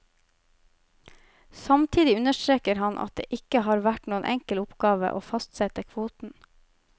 Samtidig understreker han at det ikke har vært noen enkel oppgave å fastsette kvoten.